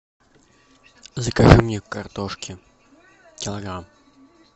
закажи мне картошки килограмм